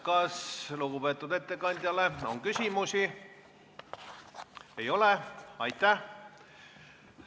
Kas lugupeetud ettekandjale on küsimusi?